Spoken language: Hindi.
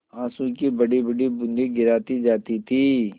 आँसू की बड़ीबड़ी बूँदें गिराती जाती थी